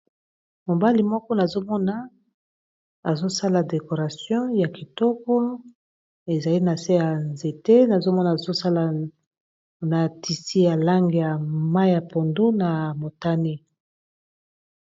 Mobali moko nazomona azosala decoration ya kitoko ezali na se ya nzete nazomona azosala na tisi ya langi ya mayi ya pondu na motane.